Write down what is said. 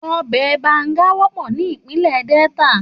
Òbè bàngá wòpò ni Ipinlè Delta